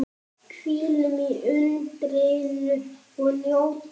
Hvílum í undrinu og njótum.